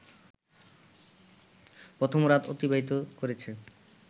প্রথম রাত অতিবাহিত করেছে